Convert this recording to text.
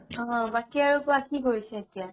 অ বাকি আৰু কুৱা কি কৰিছা এতিয়া?